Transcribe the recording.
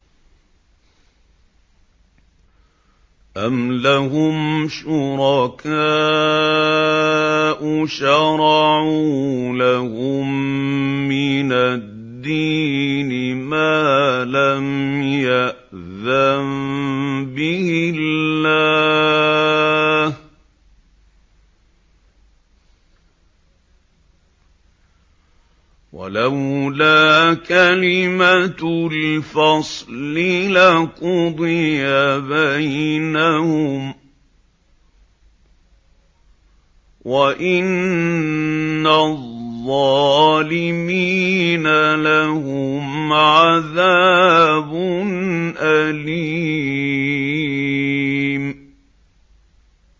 أَمْ لَهُمْ شُرَكَاءُ شَرَعُوا لَهُم مِّنَ الدِّينِ مَا لَمْ يَأْذَن بِهِ اللَّهُ ۚ وَلَوْلَا كَلِمَةُ الْفَصْلِ لَقُضِيَ بَيْنَهُمْ ۗ وَإِنَّ الظَّالِمِينَ لَهُمْ عَذَابٌ أَلِيمٌ